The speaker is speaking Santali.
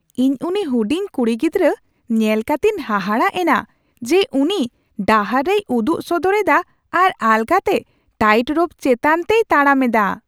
ᱤᱧ ᱩᱱᱤ ᱦᱩᱰᱤᱧ ᱠᱩᱲᱤ ᱜᱤᱫᱽᱨᱟᱹ, ᱧᱮᱞ ᱠᱟᱛᱮᱧ ᱦᱟᱦᱟᱲᱟᱜ ᱮᱱᱟ ᱡᱮ ᱩᱱᱤ ᱰᱟᱦᱟᱨ ᱨᱮᱭ ᱩᱫᱩᱜ ᱥᱚᱫᱚᱨ ᱮᱫᱟ ᱟᱨ ᱟᱞᱜᱟᱛᱮ ᱴᱟᱭᱤᱴ ᱨᱳᱯ ᱪᱮᱛᱟᱱ ᱛᱮᱭ ᱛᱟᱲᱟᱢ ᱮᱫᱟ ᱾